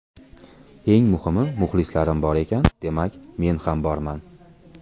Eng muhimi, muxlislarim bor ekan, demak, men ham borman.